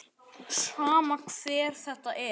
Sama hver þetta er.